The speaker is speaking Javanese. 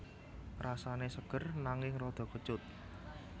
Rasane seger nanging rada kecut